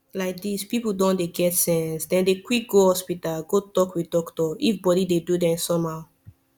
like this people don dey get sense dem dey quick go hospital go talk with doctor if body dey do them somehow